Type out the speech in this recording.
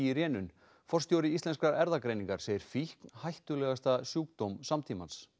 í rénun forstjóri Íslenskrar erfðargreiningar segir fíkn hættulegasta sjúkdóm samtímans